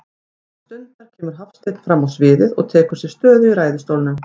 Innan stundar kemur Hafsteinn frammá sviðið og tekur sér stöðu í ræðustólnum.